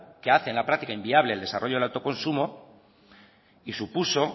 que hace en la práctica inviable el desarrollo del autoconsumo y supuso